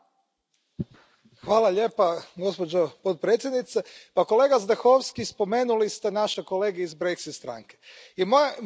Kolega Zdechovský, spomenuli ste naše kolege iz Brexit stranke i moje pitanje Vama je Zbog čega mislite da su oni toliko nezadovoljni?